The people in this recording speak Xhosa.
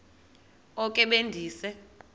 oko be ndise